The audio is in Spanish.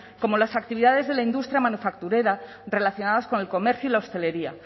como las actividades de la industria manufacturera relacionadas con el comercio y la hostelería